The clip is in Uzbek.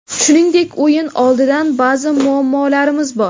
Shuningdek, o‘yin oldidan ba’zi muammolarimiz bor.